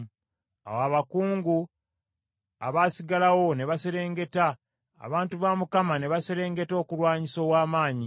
“Awo abakungu abaasigalawo ne baserengeta, abantu ba Mukama , ne baserengeta okulwanyisa ow’amaanyi.